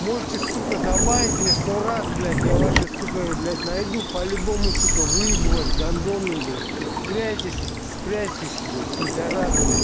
можете сука забанить меня сто раз блять я ваши сука блять найду по-любому сука выебу вас гандоны блять цепляетесь спрячьтесь блять пидорасы